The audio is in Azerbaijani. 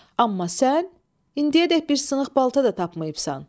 Amma sən indiyədek bir sınıq balta da tapmayıbsan.